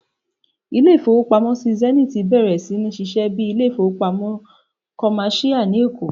Ilé-ìfowópamọ́sí Zenith bẹ̀rẹ̀ sí ní ṣíṣe bíi ilé-ìfowópamọ́sí kọ̀máṣíyà ní Èkó